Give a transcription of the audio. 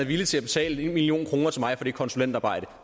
villig til at betale en million kroner til mig for det konsulentarbejde